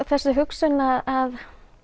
þessi hugsun að